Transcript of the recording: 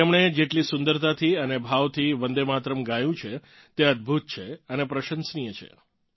તેમણે જેટલી સુંદરતાથી અને ભાવથી વંદે માતરમ ગાયું છે તે અદભુત અને પ્રશંસનીય છે